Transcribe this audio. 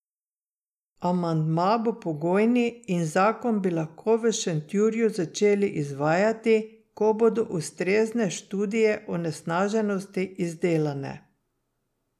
Amandma bo pogojni in zakon bi lahko v Šentjurju začeli izvajati, ko bodo ustrezne študije onesnaženosti izdelane.